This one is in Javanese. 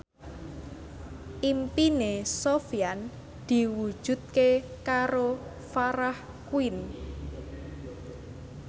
impine Sofyan diwujudke karo Farah Quinn